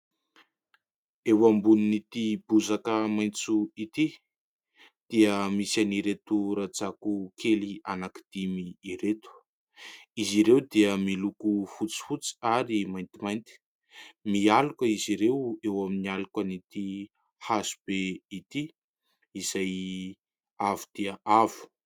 Eo ambonin'ity bozaka maitso ity dia misy an'ireto rajako kely anankidimy ireto, izy ireo dia miloko fotsifotsy ary maintimainty, mialoka izy ireo eo amin'ny aloka any ity hazobe ity izay avo dia avo.